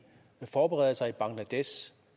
forbereder sig i bangladesh